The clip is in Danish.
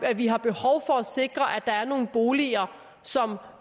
at vi har behov for at sikre at der er nogle boliger som